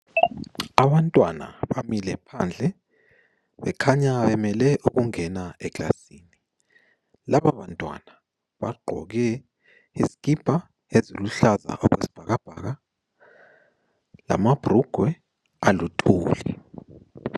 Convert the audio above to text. Abantwana bamile phandle bekhanya bemele ukungena ekilasini, labo bantwana bagqoke izikipa eziluhlaza okwe sibhakabhaka lamabhurugwe aluthuli.